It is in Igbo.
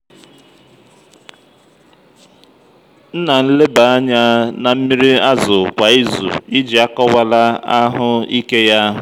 m na-nleba anya na mmị́rị́ ázù kwa ízù iji akọwala ahụ ike yá.